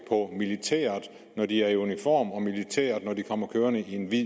på militæret når de er i uniform og militæret når de kommer kørende i en hvid